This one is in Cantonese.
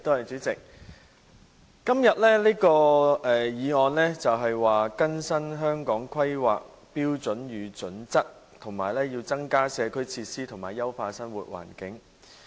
主席，今天這項議案是"更新《香港規劃標準與準則》及增加社區設施以優化生活環境"。